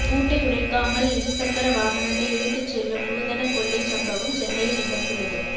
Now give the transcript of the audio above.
பூட்டை உடைக்காமல் இருசக்கர வாகனத்தை இழுத்துச் செல்லும் நூதன கொள்ளைச் சம்பவம் சென்னையில் நிகழ்ந்துள்ளது